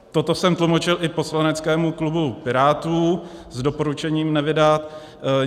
Toto jsem tlumočil i poslaneckému klubu Pirátů s doporučením nevydat.